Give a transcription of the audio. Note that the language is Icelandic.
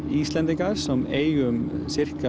Íslendingar sem eiga um